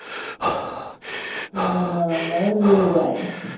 ના ના મયંક બોલું ભાઈ.